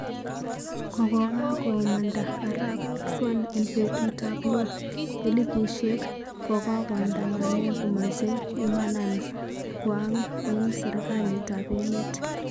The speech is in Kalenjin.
Kokokakomanda arap Xi en petut ap lo, elipushek kokoandamane komache imanan kwang en serkalit ap emet